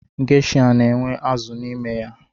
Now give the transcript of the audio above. Geisha na-enwe azụ n’ime ya